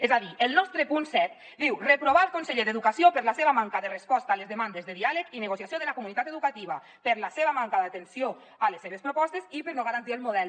és a dir el nostre punt set diu reprovar el conseller d’educació per la seva manca de resposta a les demandes de diàleg i negociació de la comunitat educativa per la seva manca d’atenció a les seves propostes i per no garantir el model